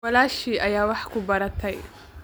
Walaashii ayaa wax ku baratay